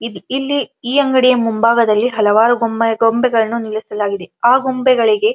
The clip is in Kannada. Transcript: ಇದೆ ಇಲ್ಲಿ ಈ ಅಂಗಡಿಯ ಮುಂಭಾಗದಲ್ಲಿ ಹಲವಾರು ಬೊಮ್ಮೆ ಗೊಂಬೆಗಳನ್ನು ನಿಲ್ಲಿಸಲಾಗಿದೆ ಆ ಗೊಂಬೆಗಳಿಗೆ --